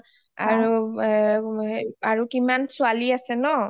আৰু কিমান ছোৱালী আছে ন